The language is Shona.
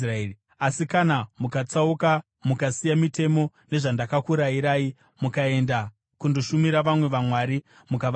“Asi kana mukatsauka mukasiya mitemo nezvandakakurayirai, mukaenda kundoshumira vamwe vaMwari mukavanamata,